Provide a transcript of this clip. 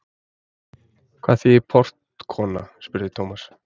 Hvað þýðir portkona? spurði Thomas.